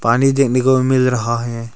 पानी देखने को भी मिल रहा है।